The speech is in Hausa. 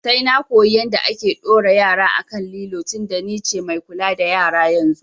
Sai na koyi yanda ake ɗora yara a kan lilo tinda ni ce mai kula da yara yanzu